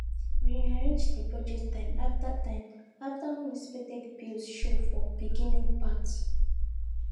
we rearrange di project time after time after unexpected bills show for beginning part